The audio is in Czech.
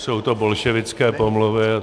Jsou to bolševické pomluvy.